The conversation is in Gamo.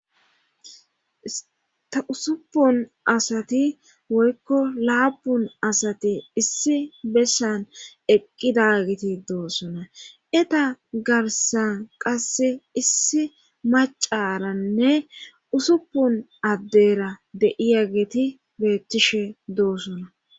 ta usuppun asati woykko laapun asati issi bessan eqqida giti doosona eta garsan qasse issi macaranne usuppun addera de'iya geti beettishe doosona